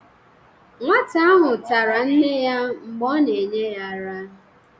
nwata ahụ tara nne ya mgbe a na-enye ya ara